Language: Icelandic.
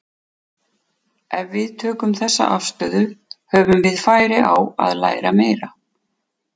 Ef við tökum þessa afstöðu höfum við færi á að læra meira.